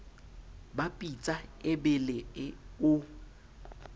ba pitsa e bele o